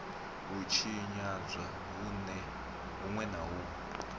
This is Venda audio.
u tshinyadzwa hunwe na hunwe